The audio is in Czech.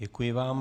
Děkuji vám.